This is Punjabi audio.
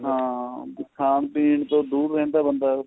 ਹਾਂ ਖਾਣ ਪੀਣ ਤੋਂ ਦੂਰ ਰਹਿੰਦਾ ਬੰਦਾ ਉਹ